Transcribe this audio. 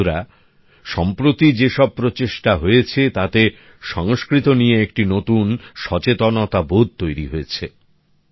বন্ধুরা সম্প্রতি যে সব প্রচেষ্টা হয়েছে তাতে সংস্কৃত নিয়ে একটি নতুন সচেতনতাবোধ তৈরি হয়েছে